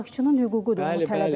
Amma istehlakçının hüququdur.